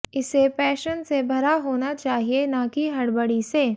इसे पैशन से भरा होना चाहिए न कि हडबडी से